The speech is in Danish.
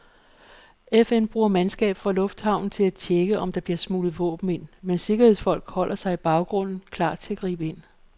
FN bruger mandskab fra lufthavnen til at tjekke, om der bliver smuglet våben ind, mens sikkerhedsfolk holder sig i baggrunden, klar til at gribe ind.